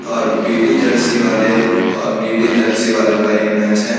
और पिली जर्सी वाले और नीली जर्सी वालों का ये मैच है।